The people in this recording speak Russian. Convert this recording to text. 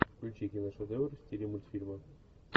включи киношедевр в стиле мультфильма